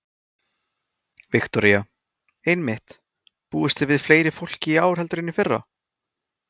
Viktoría: Einmitt, búist þið við fleira fólki í ár heldur en í fyrra?